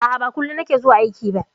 A'a, ba kullum na ke zuwa aiki ba.